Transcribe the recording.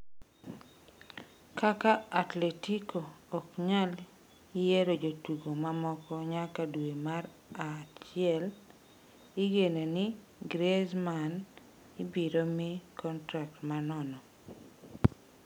Kaka Atletico ok nyal nyieo jotugo mamoko nyaka dwe mar achiel, igeno ni Griezmann ibiro mi kontrak ma nono.